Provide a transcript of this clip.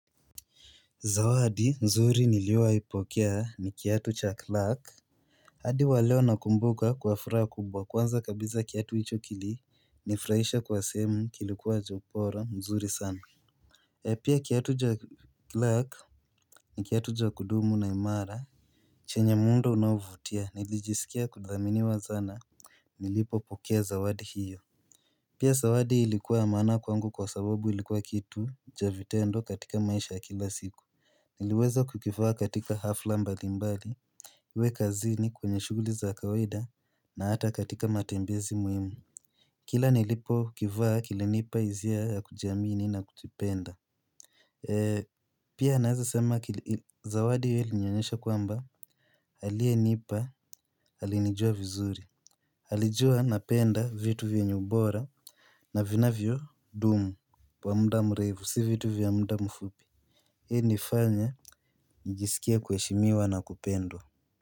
Zawadi mzuri niliowai pokea ni kiatu cha Clark hadi waleo nakumbuka kwa furaha kubwa kwanza kabisa kiatu hicho kili nifurahisha kwa semu kilikuwa cha ubora mzuri sana pia kiatu cha Clark ni kiatu cha kudumu na imara chenye muundo unaovutia nilijisikia kudhamini wa sana Nilipo pokea zawadi hiyo Pia zawadi ilikuwa ya maana kwangu kwa sababu ilikuwa kitu cha vitendo katika maisha kila siku Niliweza kukivaa katika hafla mbali mbali we kazini kwenye shuguli za kawaida na hata katika matembezi muhimu Kila nilipo kivaa kilinipa hisia ya kujiamini na kujipenda Pia naweza sema kili zawadi hiyo ilinionyesha kwamba aliye nipa alinijua vizuri alijua napenda vitu vyenye ubora na vinavyo dumu kwa muda mrefu si vitu vya muda mfupi ilinifanya nijisikie kuheshimiwa na kupendwa.